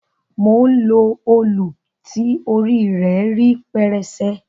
Mò ń lo òlù ti orí rẹ rí pẹrẹsẹ.